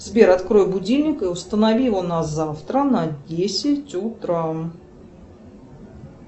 сбер открой будильник и установи его на завтра на десять утра